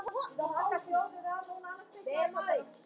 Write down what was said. Hönnun bílsins höfðaði til mín.